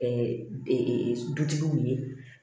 dutigiw ye